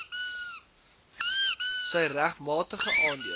sy regmatige aandeel